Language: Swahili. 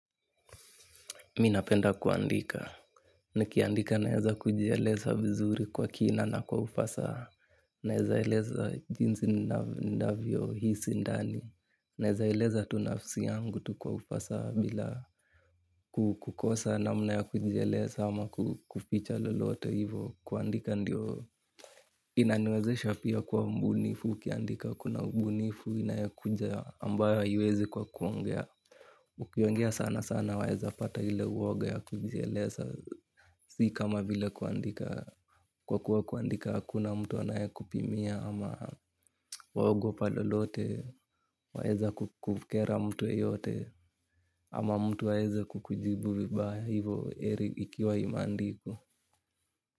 Minapenda kuandika. Nikiandika naeza kujieleza vizuri kwa kina na kwa ufasaha. Naezaeleza jinsi ndavyo hisi ndani. Naezaeleza tunafsi yangu tu kwa ufasaha bila kukosa na mna ya kujieleza ama kuficha lolote hivo. Kuandika ndio inaniwezesha pia kuwa mbunifu. Ukiandika kuna ubunifu inayokuja ambayo haiwezi kwa kuongea. Ukiongea sana sana waeza pata hile uwoga ya kujieleza si kama vile kuandika. Kwa kuwa kuandika hakuna mtu anaye kupimia ama waogo palolote waeza kukukera mtu yeyote ama mtu aeze kukujibu vibaya hivo heri ikiwa imea ndikwa.